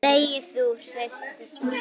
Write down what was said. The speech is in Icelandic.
Þegi þú! heyrist svarað.